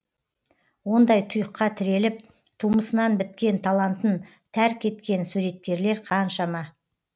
ондай тұйыққа тіреліп тумысынан біткен талантын тәрк еткен суреткерлер қаншама